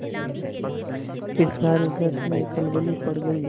फिर सारे घर में खलबली पड़ गयी